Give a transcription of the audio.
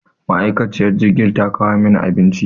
Ma'aikaciyar jirgin ta kawo mana abinci.